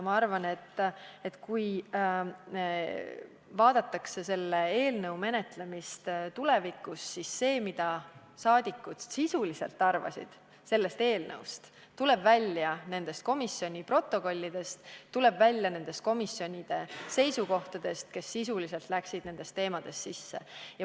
Ma arvan, et kui tulevikus selle eelnõu menetlemist vaadatakse, siis see, mida rahvasaadikud sisuliselt arvasid, tuleb välja komisjonide protokollidest – nende komisjonide seisukohtadest, kes läksid sisuliselt nendesse teemadesse sisse.